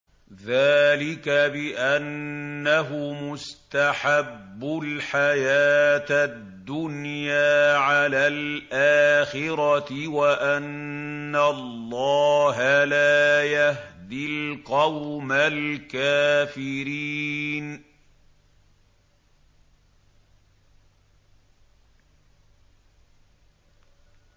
ذَٰلِكَ بِأَنَّهُمُ اسْتَحَبُّوا الْحَيَاةَ الدُّنْيَا عَلَى الْآخِرَةِ وَأَنَّ اللَّهَ لَا يَهْدِي الْقَوْمَ الْكَافِرِينَ